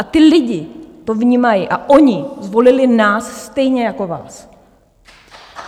A ti lidé to vnímají a oni zvolili nás stejně jako vás.